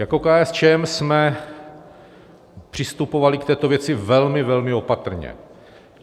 Jako KSČM jsme přistupovali k této věci velmi, velmi opatrně.